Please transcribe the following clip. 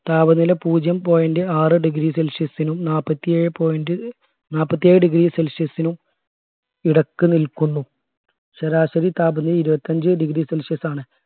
താപനില പൂജ്യം point ആറ് degree celcius നും നാല്പത്തിഏഴേ point നാല്പത്തി ഏഴ് degree celcius നും ഇടക്ക് നിൽക്കുന്നു ശരാശരി താപനില ഇരുപത്തിഅഞ്ച് degree celcius ആണ്